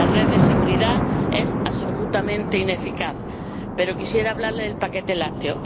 La red de seguridad es absolutamente ineficaz, pero quisiera hablarles del paquete lácteo.